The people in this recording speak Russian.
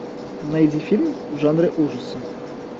найди фильм в жанре ужасы